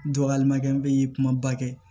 Dɔgɔyalima kɛ n bɛ kumaba kɛ